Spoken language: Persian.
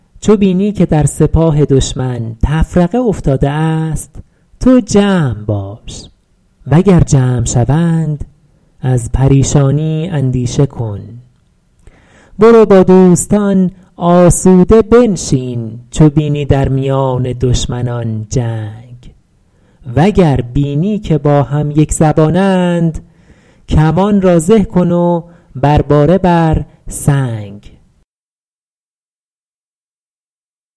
چو بینی که در سپاه دشمن تفرقه افتاده است تو جمع باش و گر جمع شوند از پریشانی اندیشه کن برو با دوستان آسوده بنشین چو بینی در میان دشمنان جنگ وگر بینی که با هم یکزبانند کمان را زه کن و بر باره بر سنگ